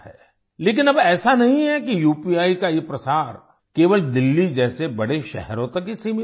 लेकिन अब ऐसा नहीं है कि उपी का ये प्रसार केवल दिल्ली जैसे बड़े शहरों तक ही सीमित है